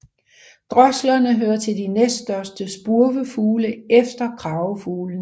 Droslerne hører til de næststørste spurvefugle efter kragefuglene